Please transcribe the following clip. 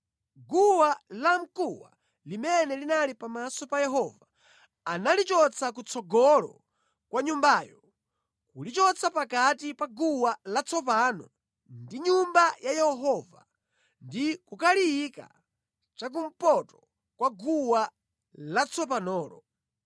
Guwa lamkuwa limene linali pamaso pa Yehova analichotsa kutsogolo kwa nyumbayo, kulichotsa pakati pa guwa latsopano ndi Nyumba ya Yehova ndi kukaliyika cha kumpoto kwa guwa latsopanolo.